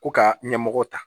Ko ka ɲɛmɔgɔw ta